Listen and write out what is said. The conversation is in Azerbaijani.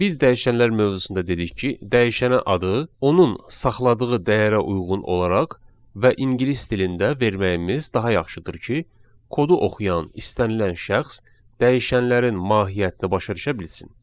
Biz dəyişənlər mövzusunda dedik ki, dəyişənə adı onun saxladığı dəyərə uyğun olaraq və ingilis dilində verməyimiz daha yaxşıdır ki, kodu oxuyan istənilən şəxs dəyişənlərin mahiyyətini başa düşə bilsin.